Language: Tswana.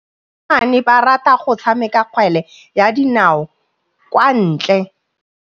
Basimane ba rata go tshameka kgwele ya dinaô kwa ntle.